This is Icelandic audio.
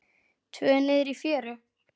Tvö niðri í fjöru.